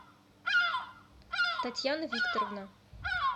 татьяна викторовна